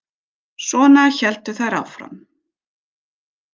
Svona héldu þær áfram.